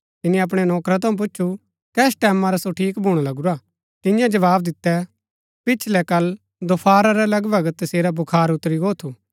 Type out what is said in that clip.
तिनी अपणै नौकरा थऊँ पुछु कस टैमां रा सो ठीक भूणा लगुरा तियें जवाव दिता पिछलै कल दोफारा रै लगभग तसेरा बुखार उतरी गो थू